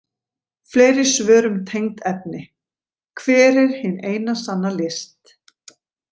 Fleiri svör um tengd efni: Hver er hin eina sanna list?